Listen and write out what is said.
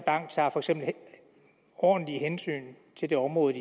ordentlige hensyn til det område